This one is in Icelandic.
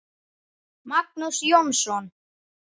Magnús Jónsson